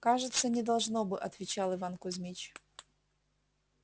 кажется не должно бы отвечал иван кузьмич